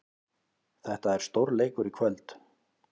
Þetta er stórleikur í kvöld.